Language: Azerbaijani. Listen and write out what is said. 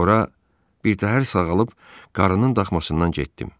Sonra birtəhər sağalıb qarının daxmasından getdim.